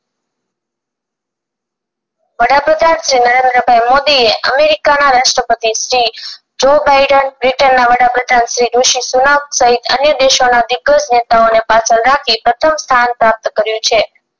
વડાપ્રધાન શ્રી નરેન્દ્રભાઇ મોદી એ અમેરિકા ના રાષ્ટપતિ શ્રી જોય બાઈડેન બ્રિટન ના વડાપ્રધાન શ્રી ઋષિ સુનક સહિત અનેક દેશોના દિગ્ગજ નેતાઓને પાછળ રાખી પ્રથમ સ્થાન પ્રાપ્ત કર્યું છે